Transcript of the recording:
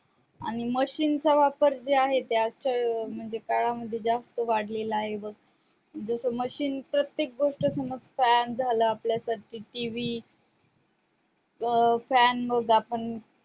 आणि machine चा वापर जे आहे ते आजकाल म्हणजे काळामध्ये जास्त वाढलेला आहे बघ जस machine प्रत्येक गोष्ट समज अह fan झालं आपल्यासाठी TV fan मग आपण